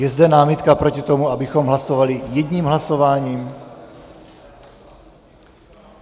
Je zde námitka proti tomu, abychom hlasovali jedním hlasováním?